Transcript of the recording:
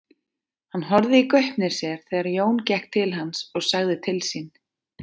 Hann horfði í gaupnir sér þegar Jón gekk til hans og sagði til sín.